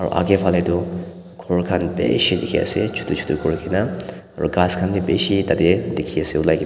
akae falae tu ghor khan bishi dikhiase chutu chutu kurikaena aro ghas khan bi bishi tatae dikhiase olai kae na.